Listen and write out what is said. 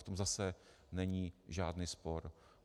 V tom zase není žádný spor.